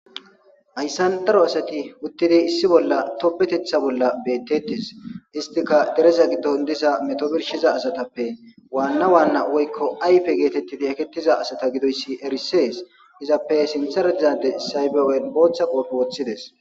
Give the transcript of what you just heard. Ayssan daro asati uttidi issi bolla topbetetha bolla beettettes istika dereza giddon diza metobirshiza asatappe waanna waanna woykko ayfe geetettidi ekettiza asata gidoyssi erisees izappe sinthara dizade saybewen booththa qoofi woththides.